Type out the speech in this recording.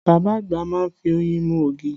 Bàbá àgbà má ń fi oyin mú ògì